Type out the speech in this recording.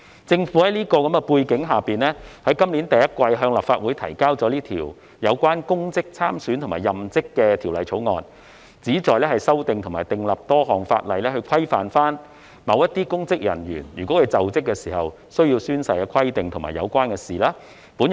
在此等背景下，政府於今年首季向立法會提交了這項《2021年公職條例草案》，旨在修訂多項法例，規範與某些公職人員在就職時須宣誓的規定有關的事宜。